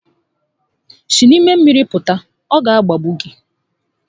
Si n'ime mmiri pụta, ọ ga agbagbu gi